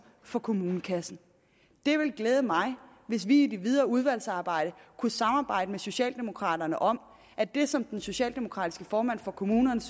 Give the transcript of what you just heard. for kommunekassen det vil glæde mig hvis vi i det videre udvalgsarbejde kunne samarbejde med socialdemokraterne om at det som den socialdemokratiske formand for kommunernes